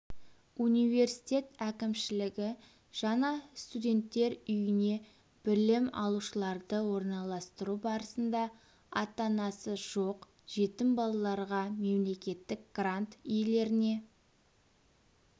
университет әкімшілігі жаңа студенттер үйіне білім алушыларды орналастыру барысында ата-анасы жоқ жетім балаларға мемлекеттік грант иелеріне